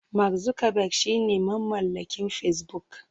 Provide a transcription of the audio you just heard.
Mark Zuckerberg shine mamallakin Facebook.